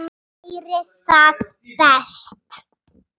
Væri það best?